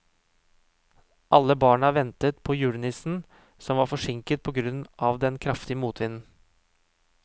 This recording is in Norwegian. Alle barna ventet på julenissen, som var forsinket på grunn av den kraftige motvinden.